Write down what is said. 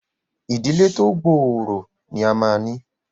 ìdílé tí o gbooro ní a má ní!